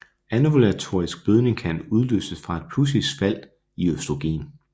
Anovulatorisk blødning kan udløses fra et pludseligt fald i østrogen